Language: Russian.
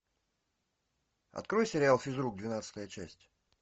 открой сериал физрук двенадцатая часть